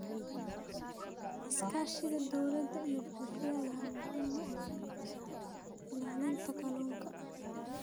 Iskaashiga dowladda iyo bulshada ayaa muhiim u ah ilaalinta kalluunka.